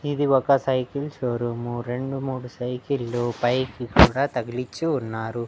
ఇది ఒక cycle showroom రెండు మూడు సైకిళ్ళు పైకి కూడా తగిలిచ్చి ఉన్నారు.